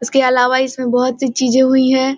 इसके अलवा इसमें बहोत-सी चीज़ें हुवी हैं।